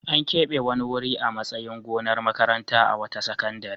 An keɓe wani wuri a matsayin gonar makaranta a wata sakandare.